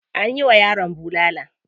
Anyi wa yaron bulala.